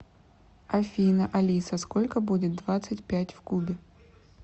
афина алиса сколько будет двадцать пять в кубе